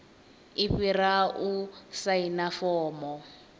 i fhira u saina fomo